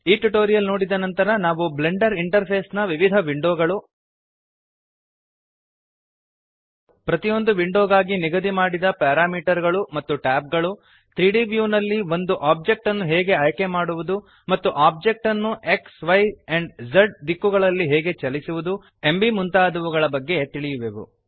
ಈ ಟ್ಯುಟೋರಿಯಲ್ ನೋಡಿದ ನಂತರ ನಾವು ಬ್ಲೆಂಡರ್ ಇಂಟರ್ಫೇಸ್ ನ ವಿವಿಧ ವಿಂಡೋಗಳು ಪ್ರತಿಯೊಂದು ವಿಂಡೋಗಾಗಿ ನಿಗದಿ ಮಾಡಿದ ಪ್ಯಾರಾಮೀಟರ್ ಗಳು ಮತ್ತು ಟ್ಯಾಬ್ ಗಳು 3ದ್ ವ್ಯೂ ನಲ್ಲಿ ಒಂದು ಒಬ್ಜೆಕ್ಟ್ ಅನ್ನು ಹೇಗೆ ಆಯ್ಕೆಮಾಡುವುದು ಮತ್ತು ಒಬ್ಜೆಕ್ಟ್ ಅನ್ನು xಯ್ ಆ್ಯಂಪ್ Z ದಿಕ್ಕುಗಳಲ್ಲಿ ಹೇಗೆ ಚಲಿಸುವದು ಎಂಬೀ ಮುಂತಾದವುಗಳ ಬಗ್ಗೆ ತಿಳಿಯುವೆವು